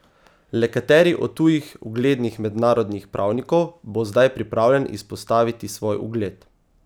Le kateri od tujih uglednih mednarodnih pravnikov bo zdaj pripravljen izpostaviti svoj ugled?